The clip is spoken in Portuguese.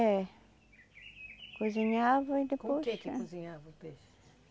É. Cozinhava e depois... Com o que que cozinhava o peixe?